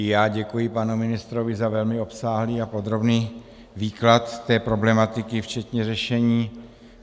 I já děkuji panu ministrovi za velmi obsáhlý a podrobný výklad té problematiky včetně řešení.